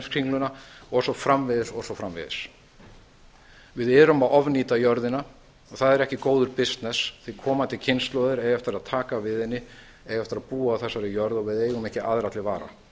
heimskringluna og svo framvegis við erum að nýta jörðina og það er ekki góður bisness því að komandi kynslóðir eiga eftir að taka við henni og eiga eftir að búa á þessari jörð og við eigum ekki aðra til vara